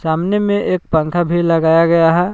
अमने में एक पंखा भी लगाया गया है।